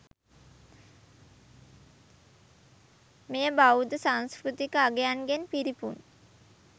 මෙය බෞද්ධ සංස්කෘතික අංගයන්ගෙන් පිරිපුන්